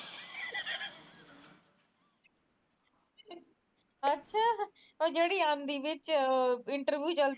ਅੱਛਾ ਉਹ ਜਿਹੜੀ ਆਦੀ interview ਚ